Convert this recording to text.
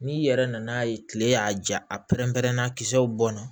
N'i yɛrɛ nan'a ye kile y'a ja a pɛrɛn-pɛrɛnna kisɛw bɔn na